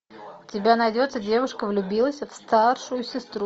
у тебя найдется девушка влюбилась в старшую сестру